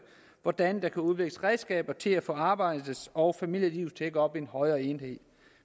hvordan der kan udvikles redskaber til at få arbejdet og familielivet til at gå op i en højere enhed